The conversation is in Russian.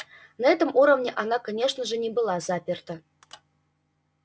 на этом уровне она конечно же не была заперта